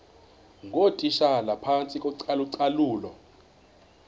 ngootitshala phantsi kocalucalulo